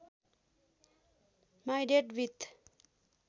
my date with